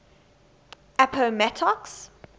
appomattox